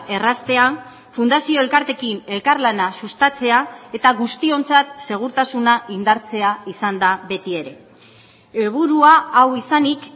erraztea fundazio elkarteekin elkarlana sustatzea eta guztiontzat segurtasuna indartzea izan da beti ere helburua hau izanik